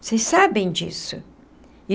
Vocês sabem disso?